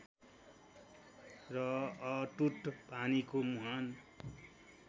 र अटुट पानीको मुहान